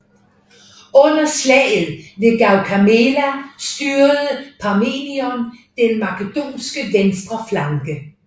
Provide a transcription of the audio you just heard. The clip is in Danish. Under slaget ved Gaugamela styrede Parmenion den makedonske venstre flanke